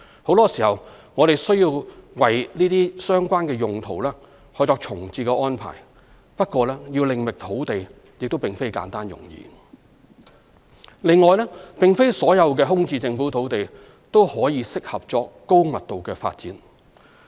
很多時，我們需要為這些相關用途作重置安排，不過要另覓用地亦非簡單容易。另外，並非所有空置政府土地也適合作高密度發展。